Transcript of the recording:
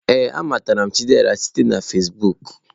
Ee, a matara m Chidiebere site na Fezbuuku.